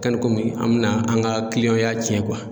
komi an bɛna an ka kiliyanw y'a cɛn